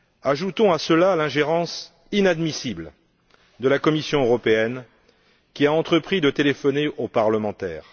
Ajoutons à cela l'ingérence inadmissible de la Commission européenne, qui a entrepris de téléphoner aux parlementaires.